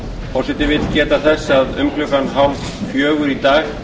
forseti vill geta þess að um klukkan þrjú þrjátíu í dag